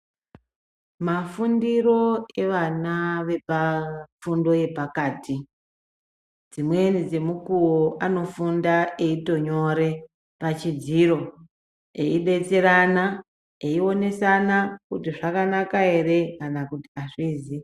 Mafundiro evana vepafundo yepakati dzimweni dzemukuwo anofunde eitonyore pachidziro eidetserana, eionesana kuti zvakanaka ere kana kuti azvizi.